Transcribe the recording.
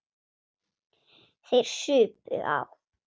Þeir supu á.